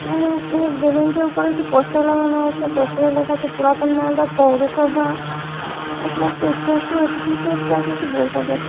এখানে একটি বিল্ডিং টির উপরে একটি পোস্টার লাগানো আছে। পোস্টার লেখা আছে পুরাতন মালদা পৌরসভা। এখানে একটা স্ট্যাচু আছে কিসের স্ট্যাচু আছে বোঝা যাচ্ছে --